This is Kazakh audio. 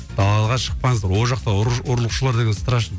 далаға шықпаңыздар ол жақта ұрлықшылар деген страшно